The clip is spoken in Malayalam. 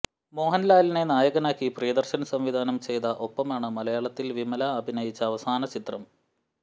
മോഹൻലാലിനെ നായകനാക്കി പ്രിയദർശൻ സംവിധാനം ചെയ്ത ഒപ്പമാണ് മലയാളത്തിൽ വിമല അഭിനയിച്ച അവസാന ചിത്രം